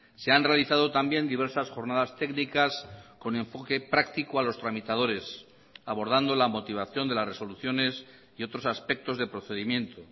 se han realizado también diversas jornadas técnicas con enfoque práctico a los tramitadores abordando la motivación de las resoluciones y otros aspectos de procedimiento